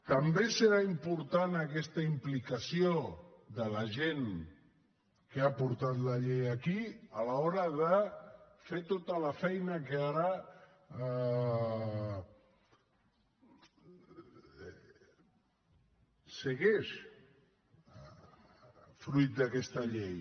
també serà important aquesta implicació de la gent que ha portat la llei aquí a l’hora de fer tota la feina que ara segueix fruit d’aquesta llei